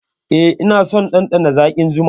Eh, ina son ɗanɗana zaƙin zuma.